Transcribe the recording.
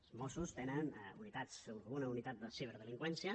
els mossos tenen una unitat de ciberdelinqüència